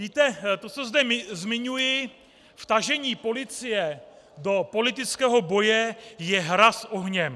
Víte, to, co zde zmiňuji, vtažení policie do politického boje, je hra s ohněm.